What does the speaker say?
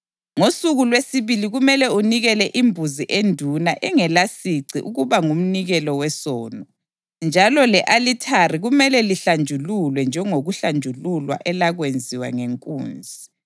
Ngosuku lwesibili kumele unikele imbuzi enduna engelasici ukuba ngumnikelo wesono, njalo le-alithari kumele lihlanjululwe njengokuhlanjululwa elakwenziwa ngenkunzi.